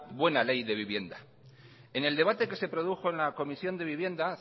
buena ley de vivienda en el debate que produjo en la comisión de vivienda